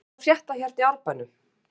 Hvað er að frétta hérna í Árbænum?